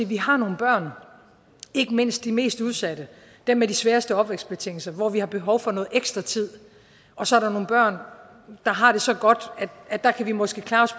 vi har nogle børn ikke mindst de mest udsatte dem med de sværeste opvækstbetingelser hvor vi har behov for noget ekstra tid og så er der nogle børn der har det så godt at der kan vi måske klare os